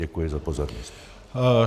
Děkuji za pozornost.